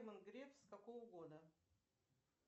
герман греф с какого года